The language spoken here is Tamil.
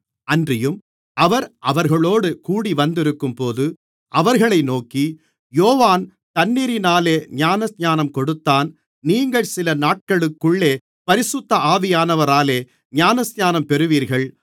அன்றியும் அவர் அவர்களோடு கூடிவந்திருக்கும்போது அவர்களை நோக்கி யோவான் தண்ணீரினாலே ஞானஸ்நானம் கொடுத்தான் நீங்கள் சில நாட்களுக்குள்ளே பரிசுத்த ஆவியானவராலே ஞானஸ்நானம் பெறுவீர்கள்